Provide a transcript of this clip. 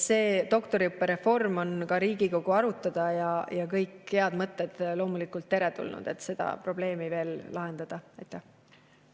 See doktoriõppereform on ka Riigikogu arutada ja kõik head mõtted, mis aitavad seda probleemi lahendada, on loomulikult teretulnud.